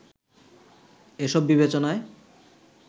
এসব বিবেচনায়